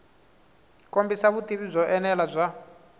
kombisa vutivi byo enela bya